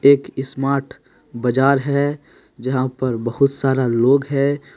एक स्मार्ट बजार है जहाँ पर बहुत सारा लोग है।